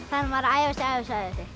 þarf maður að æfa sig aðeins